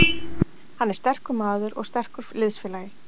Hann er sterkur maður og sterkur liðsfélagi.